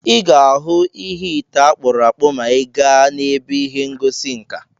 Ị ga-ahụ ite akpụrụ akpụ̀ maa ị gaa n'ebe ihe ngosi nka.